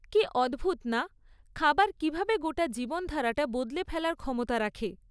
কী অদ্ভুত না, খাবার কীভাবে গোটা জীবনধারাটা বদলে ফেলার ক্ষমতা রাখে।